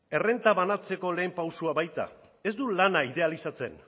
errenta banatzeko lehen pausua baita ez du lana idealizatzen